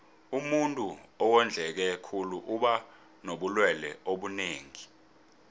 umuntuu owondleke khulu uba nobulelwe obunengi